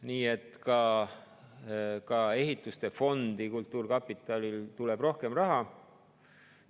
Nii et ka ehitamisfondi tuleb kultuurkapitalil rohkem raha.